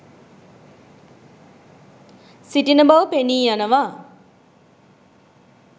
සිටින බව පෙනී යනවා